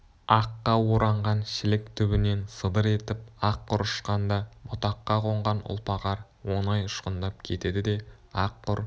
аққа оранған шілік түбінен сыдыр етіп ақ құр ұшқанда бұтаққа қонған ұлпа қар оңай ұшқындап кетеді де ақ құр